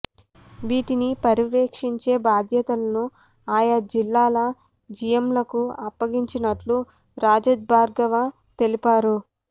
వీటిని పర్యవేక్షించే బాధ్యతను ఆయా జిల్లాల జీఎంలకు అప్పచెప్పినట్లు రజత్భార్గవ తెలిపారు